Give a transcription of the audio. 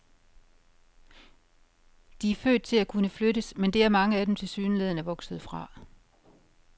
De er født til at kunne flyttes, men det er mange af dem tilsyneladende vokset fra.